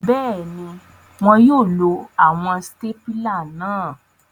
Bẹẹni, wọn yóò lo awọn stapila náà